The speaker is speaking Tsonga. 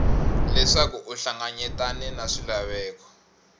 leswaku u hlanganyetane na swilaveko